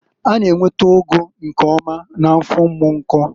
A na-enweta ụgụ nke ọma na Afọ Umunko.